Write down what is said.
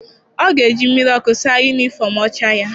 Ọ ga-eji mmiri ọkụ saa yunifọm ọcha ya.